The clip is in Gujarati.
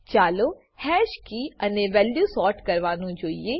ચાલો હેશ કી અને વેલ્યુ સોર્ટ કરવાનું જોઈએ